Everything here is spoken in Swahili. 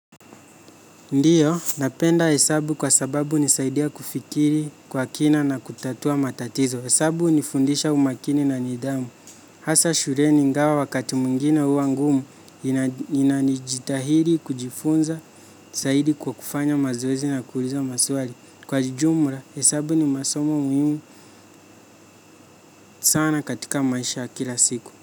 Ndiyo, napenda hesabu kwa sababu nisaidia kufikiri kwa kina na kutatua matatizo. Hesabu hunifundisha umakini na nidhamu. Hasa shuleni ingawa wakati mwingine huwa ngumu inanijitahidi kujifunza zaidi kwa kufanya mazoezi na kuuliza maswali. Kwa jumla, hesabu ni masomo muhimu sana katika maisha kila siku.